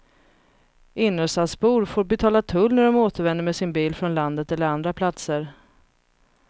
Innerstadsbor får betala tull när de återvänder med sin bil från landet eller andra platser.